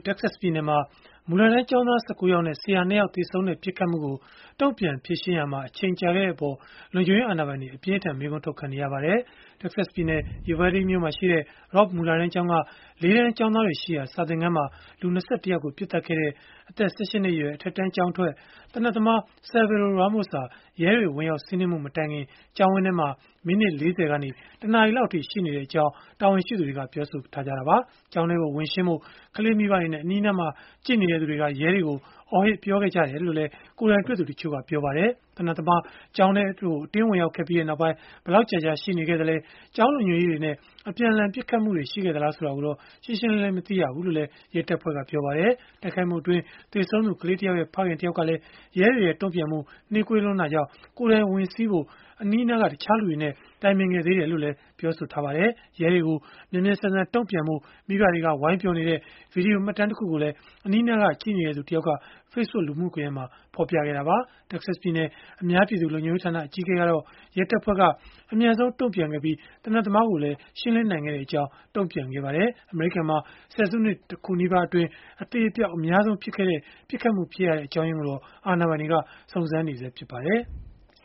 တက္ကဆက်ပြည်နယ်မှာ မူလတန်းကျောင်းသား ၁၉ ယောက်နဲ့ ဆရာ ၂ ယောက် သေဆုံးခဲ့တဲ့ ပစ်ခတ်မှုကို တုံ့ပြန်ဖြေရှင်းရာမှာ အချိန်ကြာခဲ့တဲ့အပေါ် လုံခြုံရေးအာဏာပိုင်တွေ အပြင်းအထန် မေးခွန်းထုတ်ခံနေရပါတယ်။ တက္ကဆက်ပြည်နယ်၊ Uvalde မြို့မှာရှိတဲ့ Robb မူလတန်းကျောင်းက ၄ တန်းကျောင်းသားတွေရှိရာ စာသင်ခန်းမှာ လူ ၂၁ ယောက်ကို ပစ်သတ်ခဲ့တဲ့ အသက် ၁၈ နှစ်အရွယ် အထက်တန်းကျောင်းထွက် သေနတ်သမား Salvador Ramos ဟာ ရဲတွေ ဝင်ရောက်စီးနင်းမှု မတိုင်ခင် ကျောင်းဝန်းထဲမှာ မိနစ် ၄၀ ကနေ ၁ နာရီလောက်အထိ ရှိနေခဲ့ကြောင်း တာဝန်ရှိသူတွေက ပြောဆိုထားကြတာပါ။ ကျောင်းထဲကို ဝင်ရှင်းဖို့ ကလေးမိဘတွေနဲ့ အနီးအနားမှာ ကြည့်နေသူတွေက ရဲတွေကို အော်ဟစ်ပြောခဲ့ကြတယ်လို့လည်း ကိုယ်တိုင်တွေ့သူ တချို့က ပြောပါတယ်။ သေနတ်သမား ကျောင်းထဲကို အတင်းဝင်ရောက်ခဲ့ပြီးနောက်ပိုင်း ဘယ်လောက်ကြာကြာ ရှိနေသလဲ၊ ကျောင်းလုံခြုံရေးတွေနဲ့ အပြန်အလှန် ပစ်ခတ်တာ ရှိခဲ့သလား ဆိုတာကိုတော့ တိတိကျကျ မသိရဘူးလို့လည်း ရဲတပ်ဖွဲ့က ပြောပါတယ်။ တိုက်ခိုက်မှုအတွင်း သေဆုံးသူ ကလေးတယောက်ရဲ့ ဖခင်တယောက်ကလည်း ရဲတွေရဲ့ တုံ့ပြန်မှု နှေးလွန်းတာကြောင့် ကိုယ်တိုင်ဝင်စီးဖို့ အနီးအနားက တခြားလူတွေနဲ့ တိုင်ပင်ခဲ့သေးတယ်လို့ ဆိုပါတယ်။ ရဲတွေကို မြန်မြန်ဆန်ဆန် တုံ့ပြန်ဖို့ မိဘတွေက ဝိုင်းပြောနေတဲ့ ဗွီဒီယိုမှတ်တမ်းတခုကိုလည်း အနီးအနားက ကြည့်နေတဲ့သူ တယောက်က Facebook လူမှုကွန်ရက်မှာ ဖော်ပြခဲ့တာပါ။ တက္ကဆက်ပြည်နယ် အများပြည်သူ လုံခြုံရေးဌာန အကြီးအကဲကတော့ ရဲတပ်ဖွဲ့က အမြန်ဆုံး တုံ့ပြန်ခဲ့ပြီး သေနတ်သမားကိုလည်း ရှင်းလင်းနိုင်ခဲ့ကြောင်း တုံ့ပြန်ခဲ့ပါတယ်။ အမေရိကန်မှာ ဆယ်စုနှစ် ၁ ခုနီးပါးအတွင်း အသေအပျောက် အများဆုံးဖြစ်ခဲ့တဲ့ ပစ်ခတ်မှုဖြစ်ရတဲ့ အကြောင်းရင်းကိုတော့ အာဏာပိုင်တွေ စုံစမ်းနေဆဲ ဖြစ်ပါတယ်။